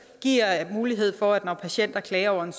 og giver mulighed for at når patienter klager over en